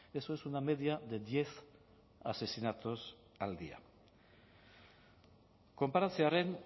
eso es una media de diez asesinatos al día konparatzearren